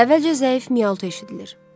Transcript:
Əvvəlcə zəif miltu eşidilir.